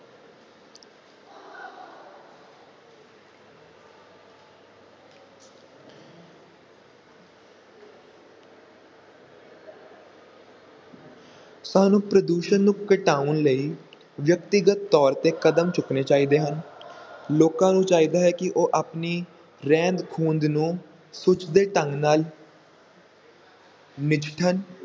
ਸਾਨੂੰ ਪ੍ਰਦੂਸ਼ਣ ਨੂੰ ਘਟਾਉਣ ਲਈ ਵਿਅਕਤੀਗਤ ਤੌਰ ‘ਤੇ ਕਦਮ ਚੁੱਕਣੇ ਚਾਹੀਦੇ ਹਨ ਲੋਕਾਂ ਨੂੰ ਚਾਹੀਦਾ ਹੈ ਕਿ ਉਹ ਆਪਣੀ ਰਹਿੰਦ-ਖੂੰਹਦ ਨੂੰ ਸੁਚੱਜੇ ਢੰਗ ਨਾਲ ਨਜਿੱਠਣ,